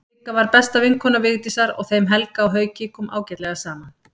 Sigga var besta vinkona Vigdísar og þeim Helga og Hauki kom ágætlega saman.